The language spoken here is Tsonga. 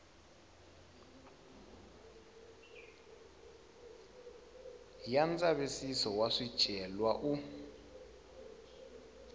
ya ndzavisiso wa swicelwa u